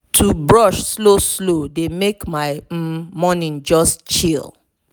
to brush slow slow dey make my um morning just chill.